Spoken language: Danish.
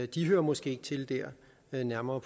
de hører måske ikke til der men nærmere